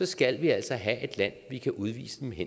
skal vi altså have et land vi kan udvise dem